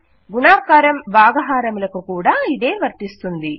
గుణకారము భాగహారములకు కూడా ఇదే వర్తిస్తుంది